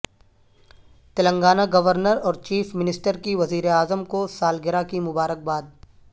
Telangana governor اور chief minister کی وزیراعظم کو سالگرہ کی مبارکباد